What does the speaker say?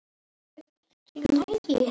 Þegar neðar dregur breikka þær.